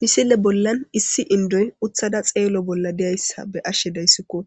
Misile bollan issi indoy uthada xeelo bolla diyayssa be ashshe dayssikko